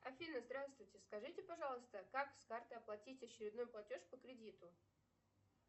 афина здравствуйте скажите пожалуйста как с карты оплатить очередной платеж по кредиту